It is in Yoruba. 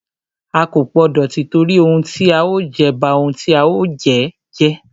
A kò gbọdọ tìtorí ohun tí a ó jẹ, ba ohun tí a ó jẹ́ jẹ́.